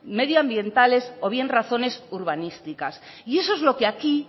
medioambientales o bien razones urbanísticas y eso es lo que aquí